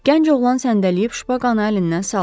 Gənc oğlan səndələyib şpaqanı əlindən saldı.